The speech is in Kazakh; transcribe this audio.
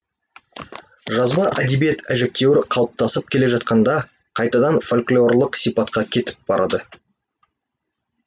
жазба әдебиет әжептәуір қалыптасып келе жатқанда қайтадан фольклорлық сипатқа кетіп барады